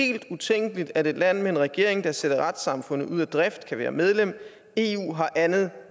helt utænkeligt at et land med en regering der sætter retssamfundet ud af drift kan være medlem eu har andet